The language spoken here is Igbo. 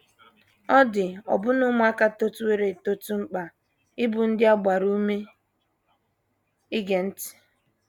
Ọ dị ọbụna ụmụaka totụworo eto mkpa ịbụ ndị a gbara ume ige ntị.